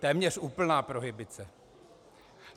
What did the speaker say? Téměř úplná prohibice.